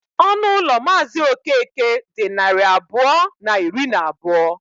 Ọnụ ụlọ Mazị Okeke dị narị abụọ na iri na abụọ.